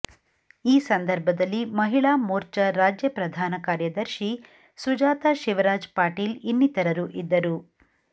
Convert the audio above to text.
ಈ ಸಂದರ್ಭದಲ್ಲಿ ಮಹಿಳಾ ಮೋರ್ಚ ರಾಜ್ಯ ಪ್ರಧಾನಕಾರ್ಯದರ್ಶಿ ಸುಜಾತಾ ಶಿವರಾಜ್ ಪಾಟೀಲ್ ಇನ್ನಿತರರು ಇದ್ದರು